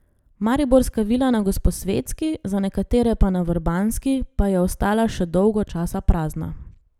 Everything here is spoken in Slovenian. Mariborska vila na Gosposvetski, za nekatere pa na Vrbanski, pa je ostala še dolgo časa prazna.